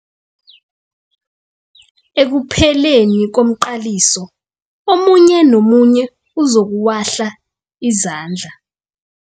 Ekupheleni komqaliso omunye nomunye uzokuwahla izandla.